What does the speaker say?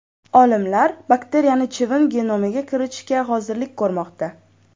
Olimlar bakteriyani chivin genomiga kiritishga hozirlik ko‘rmoqda.